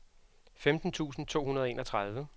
femten tusind to hundrede og enogtredive